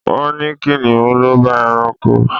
Wọ́n ní Kìnnìún l'ọba ẹranko.